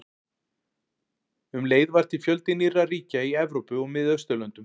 Um leið varð til fjöldi nýrra ríkja í Evrópu og Miðausturlöndum.